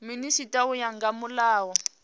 minisita u ya nga mulayo